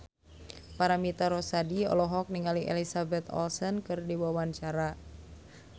Paramitha Rusady olohok ningali Elizabeth Olsen keur diwawancara